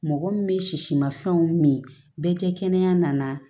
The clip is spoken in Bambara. Mɔgɔ min bɛ sisimafɛnw min bɛɛ tɛ kɛnɛya nana